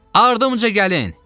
Ardıınca gəlin!